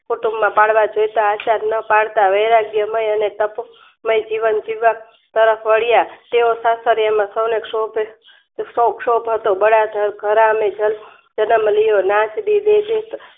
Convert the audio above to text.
કુટુંબમાં પાળવા જયશા ન પાળતા વૈરાગ્યમય અને તપ મય જીવન જીવવા તરફ વળિયા તેઓ સાસરિયામાં સૌને સૌ શોભ હતો બળાઘ સદ્મનિયો